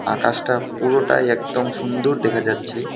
আকাশটা পুরোটাই একদম সুন্দর দেখা যাচ্ছে.